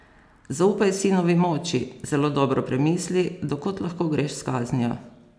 Zaupaj sinovi moči, zelo dobro premisli, do kod lahko greš s kaznijo.